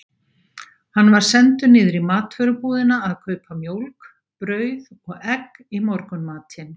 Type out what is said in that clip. Hann var sendur niður í matvörubúðina að kaupa mjólk, brauð og egg í morgunmatinn.